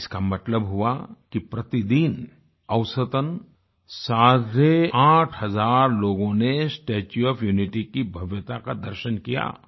इसका मतलब हुआ कि प्रतिदिन औसतन साढ़े आठ हज़ार लोगों ने स्टेच्यू ओएफ यूनिटी की भव्यता का दर्शन किया